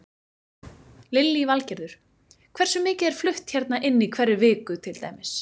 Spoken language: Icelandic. Lillý Valgerður: Hversu mikið er flutt hérna inn í hverri viku til dæmis?